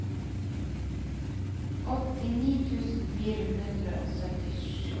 åttini tusen fire hundre og syttisju